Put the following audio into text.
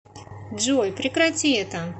джой прекрати это